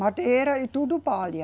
Madeira e tudo palha.